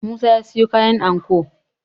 musa ya siyo kayan anko